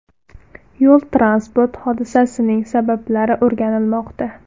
Yo‘l-transport hodisasining sabablari o‘rganilmoqda.